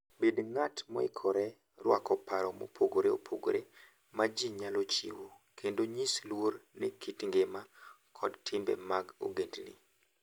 Bed ng'at moikore rwako paro mopogore opogore ma ji nyalo chiwo, kendo nyis luor ne kit ngima kod timbe mag ogendni.